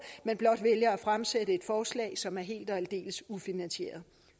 men blot vælger at fremsætte et forslag som er helt og aldeles ufinansieret